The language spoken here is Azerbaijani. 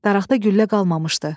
Daraqda güllə qalmamışdı.